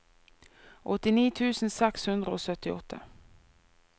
åttini tusen seks hundre og syttiåtte